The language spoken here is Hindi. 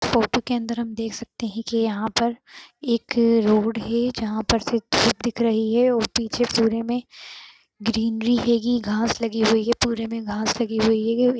फोटो के अन्दर हम देख सकते हैं की यहाँ पर एक रोड है जहाँ पर से दिख रही है और पीछे पूरे में ग्रीनरी हैगी घास लगी हुई है पुरे में घास लगी हुई है।